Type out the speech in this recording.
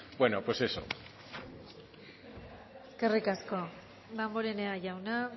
bueno pues eso eskerrik asko damborenea jauna